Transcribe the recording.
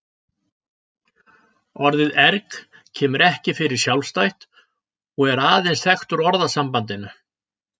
Orðið erg kemur ekki fyrir sjálfstætt og er aðeins þekkt úr orðasambandinu.